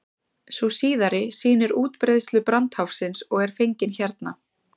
sú síðari sýnir útbreiðslu brandháfsins og er fengin hérna